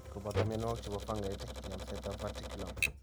kobooto myanwogik che po fangait: yamsetap verticillium,